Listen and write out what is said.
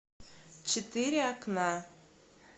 четыре окна